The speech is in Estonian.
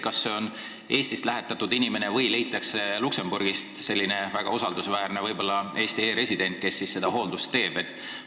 Kas see on Eestist lähetatud inimene või leitakse Luksemburgist keegi väga usaldusväärne, võib-olla Eesti e-resident, kes seda hooldust teeb?